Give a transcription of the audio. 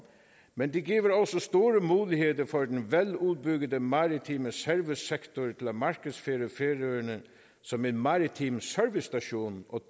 men det giver vel også store muligheder for den veludbyggede maritime servicesektor til at markedsføre færøerne som en maritim servicestation og